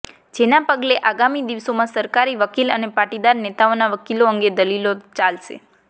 જેના પગલે આગામી દિવસોમાં સરકારી વકીલ અને પાટીદાર નેતાઓના વકીલો અંગે દલીલો ચાલશે